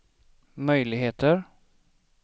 möjligheter